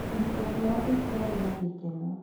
Kĩhiko kĩao gĩtiarĩ na gĩkeno.